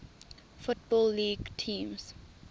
football league teams